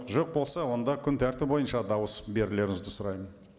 жоқ болса онда күн тәртібі бойынша дауыс берулеріңізді сұраймын